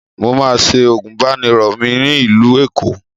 Mo máa se àgùbánirọ̀ mi ní ìlú Èkó